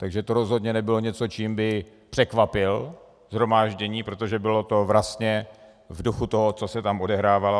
Takže to rozhodně nebylo něco, čím by překvapil shromáždění, protože to bylo vlastně v duchu toho, co se tam odehrávalo.